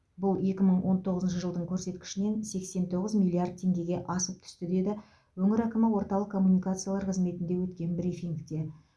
бұл екі мың он тоғызыншы жылдың көрсеткішінен сексен тоғыз миллиард теңгеге асып түсті деді өңір әкімі орталық коммуникациялар қызметінде өткен брифингте